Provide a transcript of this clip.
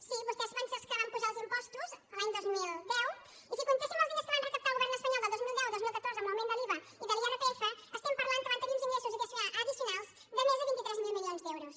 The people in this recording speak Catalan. sí vostès van ser els que van apujar els impostos l’any dos mil deu i si comptéssim els diners que van recaptar el govern espanyol del dos mil deu al dos mil catorze amb l’augment de l’iva i de l’irpf estem parlant que van tenir uns ingressos addicionals de més de vint tres mil milions d’euros